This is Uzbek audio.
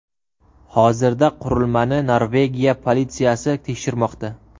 Hozirda qurilmani Norvegiya politsiyasi tekshirmoqda.